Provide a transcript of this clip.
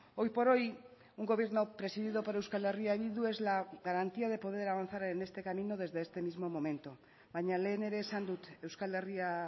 hoy por hoy un gobierno presidido por euskal herria bildu es la garantía de poder avanzar en este camino desde este mismo momento baina lehen ere esan dut euskal herria